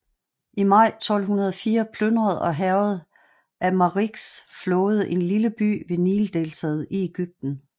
I maj 1204 plyndrede og hærgede Amalriks flåde en lille by ved Nildeltaet i Egypten